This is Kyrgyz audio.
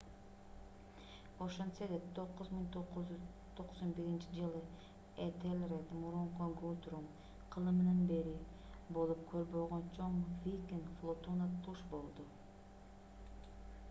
ошентсе да 991-жылы этелред мурунку гутрум кылымынан бери болуп көрбөгөн чоң викинг флотуна туш болду